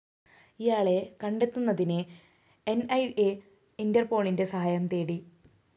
ഇയാളെ കണ്ടെത്തുന്നതിന് ന്‌ ഇ അ ഇന്റര്‍പോളിന്റെ സഹായം തേടി